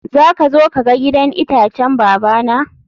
zaka zo ka ga gidan itacen babana?